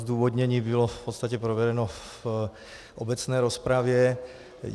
Zdůvodnění bylo v podstatě provedeno v obecné rozpravě.